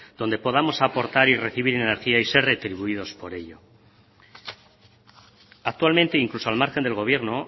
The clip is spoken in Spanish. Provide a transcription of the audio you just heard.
donde podamos aportar y recibir energía y ser retribuidos por ello actualmente incluso al margen del gobierno